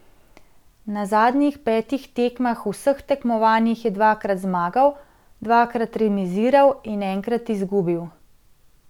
Na zadnjih petih tekmah v vseh tekmovanjih je dvakrat zmagal, dvakrat remiziral in enkrat izgubil.